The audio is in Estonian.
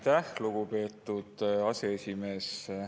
Aitäh, lugupeetud aseesimees!